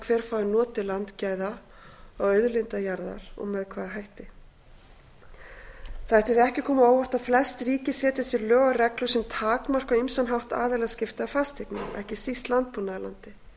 hver fái notið landgæða og auðlinda jarðar og með hvaða hætti það ætti því ekki að koma á óvart að fleiri ríki setja sér lög og reglur sem takmarka á ýmsan hátt aðilaskipti að fasteignum ekki síst landbúnaðarlandi